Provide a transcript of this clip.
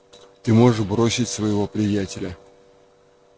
ты можешь бросить своего приятеля